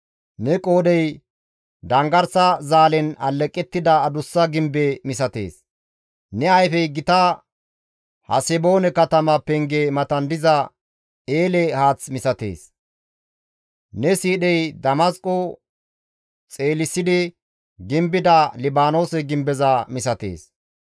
Ne qoodhey danggarsa zaalen alleqettida adussa gimbe misatees; ne ayfey gita Haseboone katama penge matan diza eele haath misatees; ne siidhey Damasqo xeelisidi gimbida Libaanoose gimbeza misatees.